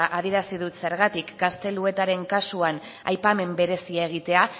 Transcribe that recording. adierazi dut zergatik gazteluetaren kasuan aipamen berezia egitea